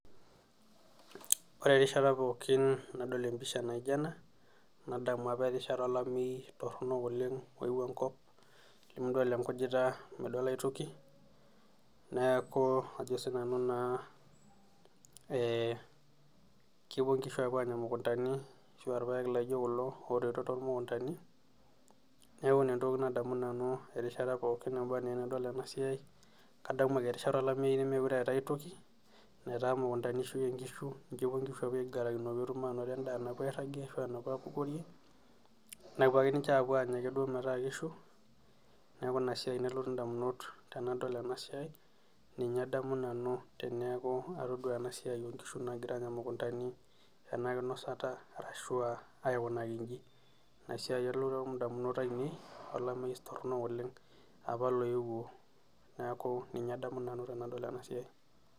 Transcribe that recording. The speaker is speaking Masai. Ore erishata pookin nadol empisha naijo ena ,nadamu erishata apa olameyu torok oyeuo enkop ,midol enkujita midol aitoki ,neeku naa kepuo nkishu apuo aanya mukuntani ashua irpaek laijo kulo neeku ina entoki nadamu nanu erishata pookin nadol ena siai kadamu ajo erishata olameyu nameetae aitoki ,netaa mukuntani eishuyie nkishu, ninye epuo nkishu aigarakino peyie etum endaa napuo airagie ,nepuo ake ninche anya duo metaa kishu, neeku ina siai nalotu ndamunot tenadol ena siai nkishu naagira aanya mukuntani ena kinosata ashua aikunaki inji, ina siai nalotu ndamunot ainei olameyu toronok oleng apa loyeuo neeku ninye nanu adamu tenadol ena siai.